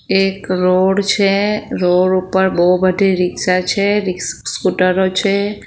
એક રોડ છે રોડ ઉપર બહુ બધી રીક્ષા છે સ્કૂટરો છે.